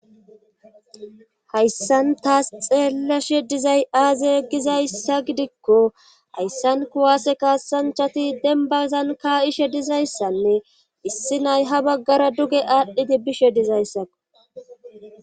Hayssan taas xeelleshe dizay aaze gizayssa gidikko hayssan kuwaase kaasanchati denbazan kaa7ishe dizayssanne issi nay ha baggara duge aadhdhidi bishe dizayssakko.